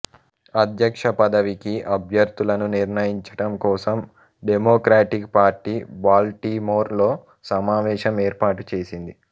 అధ్యక్ష పదవికి అభ్యర్థులను నిర్ణయించటం కోసం డమోక్రాటిక్ పార్టీ బాల్టిమోర్ లో సమావేశం ఏర్పాటు చేసింది